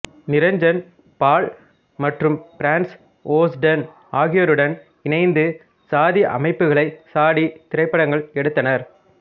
நிரஞ்சன் பால் மற்றும் Franz Osten ஆகியோருடன் இணைந்து சாதி அமைப்புகளை சாடி திரைப்படங்கள் எடுத்தனர்